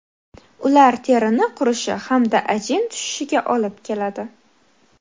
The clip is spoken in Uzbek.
Ular terini qurishi hamda ajin tushishiga olib keladi.